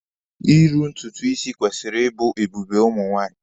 Iru ntutu isi kwesịrị ịbụ ebube ụmụ nwaanyị.